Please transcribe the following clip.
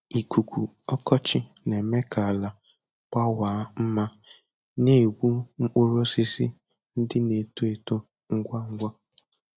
Ikuku ọkọchị na-eme ka ala gbawaa ma na egbu mkpụrụ osisi ndị na-eto eto ngwa ngwa.